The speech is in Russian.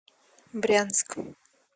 брянск